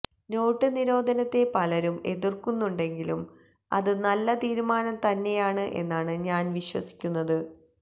not നിരോധനത്തെ പലരും എതിര്ക്കുന്നുണ്ടെങ്കിലും അത് നല്ല തീരുമാനം തന്നെയാണ് എന്നാണ് ഞാന് വിശ്വസിക്കുന്നത്